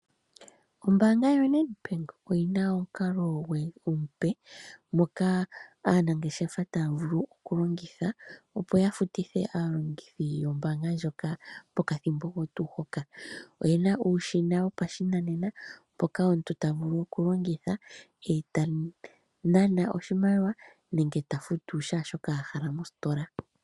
Ombanga yoNedbank oyi na omukalo omupe moka aanageshefa ta vulu okulongitha opo yafutithe aalongithi yombanga ndjoka pokathimbo oko tu hoka oye na uushina wopashinanena mpoka omuntu ta vulu okulongitha etanana oshimaliwa nenge ta futu shashoka ahala mostola.